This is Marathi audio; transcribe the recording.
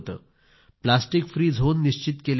प्लास्टिक फ्री झोन निश्चित केले गेले